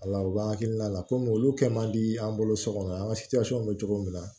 Ala u k'an hakilina la komi olu kɛ man di an bolo so kɔnɔ an ka bɛ cogo min na